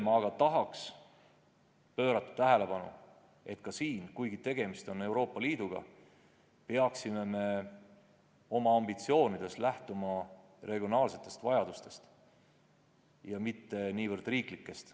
Tahan aga juhtida tähelepanu sellele, et kuigi tegemist on Euroopa Liiduga, peaksime me oma ambitsioonides lähtuma regionaalsetest vajadustest, mitte niivõrd riiklikest.